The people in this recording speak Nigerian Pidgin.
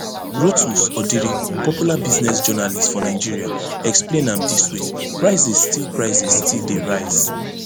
rotus odiri popular business journalist for nigeria explain am dis way prices still prices still dey rise